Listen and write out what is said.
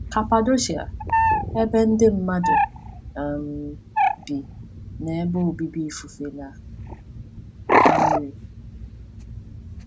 Kapadoshia—Ebe Ndị mmadụ um Bi Na Ebe Obibi Ifufe Na Mmiri.